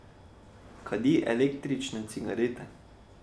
Kadi električne cigarete.